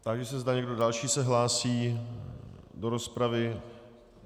Táži se, zda někdo další se hlásí do rozpravy.